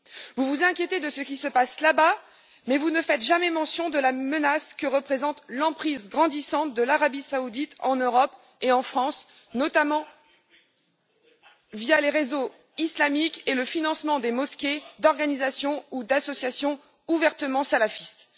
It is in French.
Vous vous inquiétez de ce qui se passe là bas, mais vous ne faites jamais mention de la menace que représente l'emprise grandissante de l'Arabie saoudite en Europe et en France, notamment via les réseaux islamiques et le financement des mosquées, d'organisations ou d'associations ouvertement salafistes.